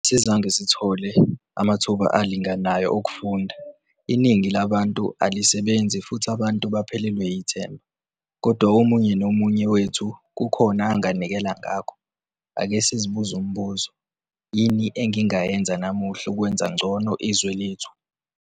Asizange sithole amathuba alinganayo okufunda, iningi alabantu alisebenzi futhi abantu baphelelwa yithemba kodwa umunye nomunye wethu kukhona anganikela ngakho. Ake sizibuze umbuzo - 'Yini engingayenza namuhla ukwenza ngcono izwe lethu?'